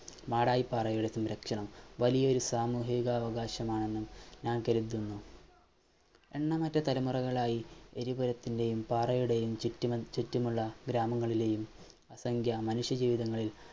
മാടായി പ്പാറയുടെ സംരക്ഷണം വലിയൊരു സാമൂഹിക അവകാശമാണെന്ന് നാം കെര്തുന്നു എണ്ണമറ്റ തലമുറകളായി എരിപുരത്തിന്റെയും പാറയുടെയും ചുറ്റിനും ചുറ്റുമുള്ള ഗ്രാമങ്ങളിലെയും അസംഖ്യ മനുഷ്യ ജീവിതങ്ങളിൽ